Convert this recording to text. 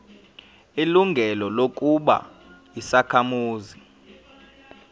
ilungelo lokuba yisakhamuzi